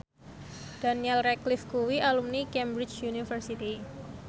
Daniel Radcliffe kuwi alumni Cambridge University